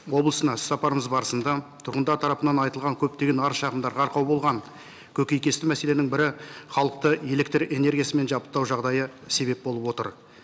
облысына іс сапарымыз барысында түрғындар тарапынан айтылған көптеген арыз шағымдарға арқау болған көкейкесті мәселенің бірі халықты электрэнергиясымен жабдықтау жағдайы себеп болып отыр